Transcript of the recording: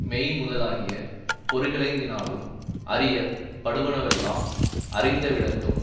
மெய் முதலாகிய பொறிகளைந்தினானும் அறிய படுவனவெல்லாம் அறிந்தவிடத்தும்